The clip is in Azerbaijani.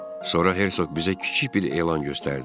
Sonra Herzoq bizə kiçik bir elan göstərdi.